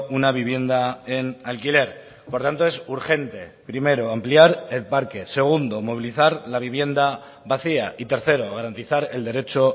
una vivienda en alquiler por tanto es urgente primero ampliar el parque segundo movilizar la vivienda vacía y tercero garantizar el derecho